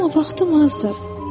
Amma vaxtım azdır.